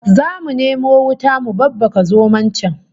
Zamu nemo wuta mu babbaka zomon can